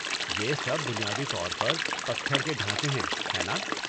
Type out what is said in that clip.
یہ سب بنیادی طور پر پتھر کے ڈھانچے ہیں، ہیں نا؟